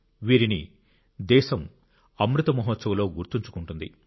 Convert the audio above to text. వీరిని దేశం అమృత్ మహోత్సవ్లో గుర్తుంచుకుంటుంది